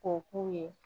Ko k'u ye